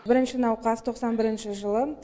бірінші науқас тоқсан бірінші жылы